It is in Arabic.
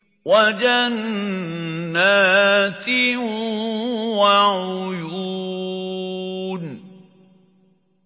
وَجَنَّاتٍ وَعُيُونٍ